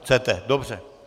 Chcete, dobře.